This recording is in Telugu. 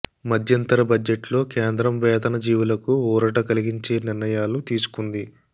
మధ్యంతర బడ్జెట్లో కేంద్రం వేతన జీవులకు ఊరట కలిగించే నిర్ణయాలు తీసుకుంది